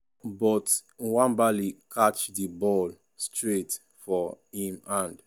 but nwabali catch di ball straight for im hand.